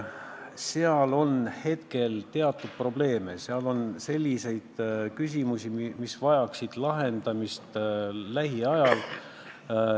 Seal on teatud probleeme, seal on küsimusi, mis vajaksid lähiajal lahendamist.